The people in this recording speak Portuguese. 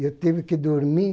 Eu tive que dormir,